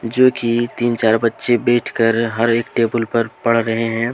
जो कि तीन चार बच्चे बैठ कर हर एक टेबुल पर पड़ रहे हैं।